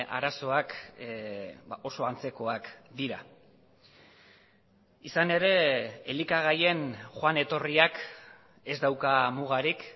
arazoak oso antzekoak dira izan ere elikagaien joan etorriak ez dauka mugarik